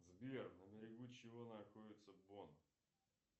сбер на берегу чего находится бон